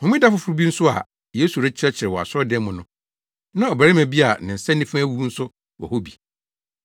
Homeda foforo bi nso a Yesu rekyerɛkyerɛ wɔ asɔredan mu no, na ɔbarima bi a ne nsa nifa awu nso wɔ hɔ bi.